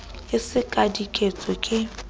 e se ka diketso ke